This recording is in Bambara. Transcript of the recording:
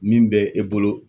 Min bɛ e bolo